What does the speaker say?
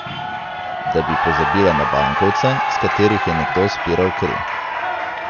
Da bi pozabila na bankovce, s katerih je nekdo spiral kri.